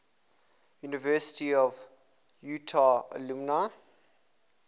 university of utah alumni